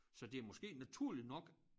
Så det er måske naturligt nok